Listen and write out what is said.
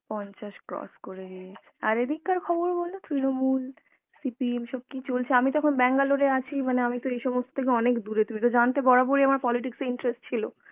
পঞ্চাশ cross করে দিল, আর এদিককার খবর বলো তৃনমূল, CPM, সব কি চলছে, আমি তো এখন Bangalore এ আছি মানে আমিতো এই সমস্থ থেকে অনেক দুরে তুমি তো জানতে বরাবর ই আমার politics আ interest ছিল